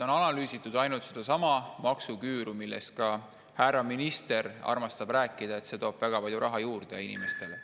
On analüüsitud ainult sedasama maksuküüru, millest ka härra minister armastab rääkida, öeldes, et see toob väga palju raha juurde inimestele.